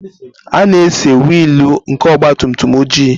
A na-ese wiil nke ọgabtumtum oji.